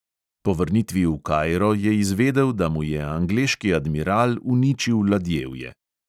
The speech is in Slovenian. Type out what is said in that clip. Po vrnitvi v kairo je izvedel, da mu je angleški admiral uničil ladjevje.